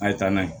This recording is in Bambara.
A ye taa n'a ye